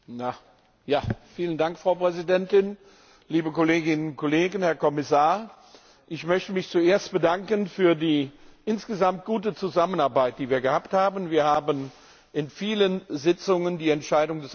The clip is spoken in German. Frau Präsidentin, Herr Kommissar, liebe Kolleginnen und Kollegen! Ich möchte mich zuerst bedanken für die insgesamt gute Zusammenarbeit, die wir gehabt haben. Wir haben in vielen Sitzungen die Entscheidung des Ausschusses vorbereitet.